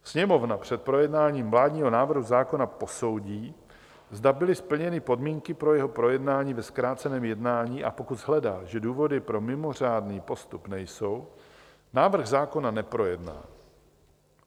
Sněmovna před projednáním vládního návrhu zákona posoudí, zda byly splněny podmínky pro jeho projednání ve zkráceném jednání, a pokud shledá, že důvody pro mimořádný postup nejsou, návrh zákona neprojedná.